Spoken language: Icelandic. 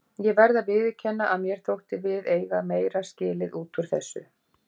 Ég verð að viðurkenna að mér þótti við eiga meira skilið út úr þessu.